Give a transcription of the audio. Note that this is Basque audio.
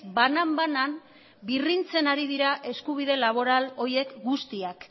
banan banan birrintzen ari dira eskubide laboral horiek guztiak